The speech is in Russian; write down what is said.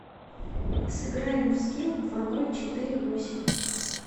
сыграем в скил два ноль четыре восемь